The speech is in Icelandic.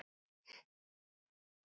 Hún kennir okkur mikið.